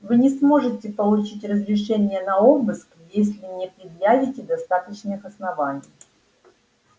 вы не сможете получить разрешения на обыск если не предъявите достаточных оснований